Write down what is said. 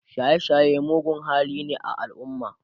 shaye shaye mugun hali ne a alumma